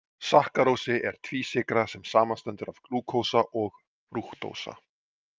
Sakkarósi er tvísykra sem samanstendur af glúkósa og frúktósa.